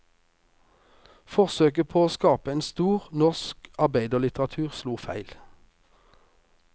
Forsøket på å skape en stor, norsk arbeiderlitteratur slo feil.